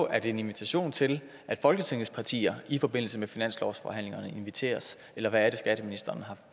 er en invitation til at folketingets partier i forbindelse med finanslovsforhandlingerne inviteres eller hvad er det skatteministeren